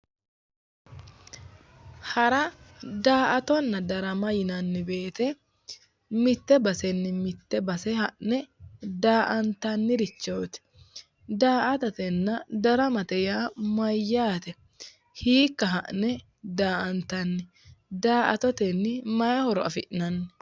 Hara daa''ttonna darama yineemmo woyite mitte basenni mitte base ha'ne daa''antannirichooti daa''atatenna daramate yaa mayyaate? Hiikka ha'ne daa"atanni? Daa"attotenni mayi horo afi'nanni?